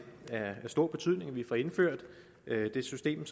af stor betydning at vi får indført det system